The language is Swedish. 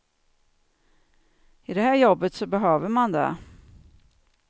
I det här jobbet så behöver man det.